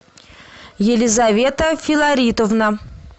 елизавета филаритовна